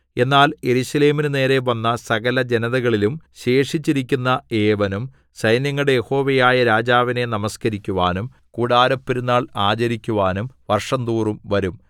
എന്നാൽ യെരൂശലേമിനു നേരെ വന്ന സകലജനതകളിലും ശേഷിച്ചിരിക്കുന്ന ഏവനും സൈന്യങ്ങളുടെ യഹോവയായ രാജാവിനെ നമസ്കരിക്കുവാനും കൂടാരപ്പെരുന്നാൾ ആചരിക്കുവാനും വർഷംതോറും വരും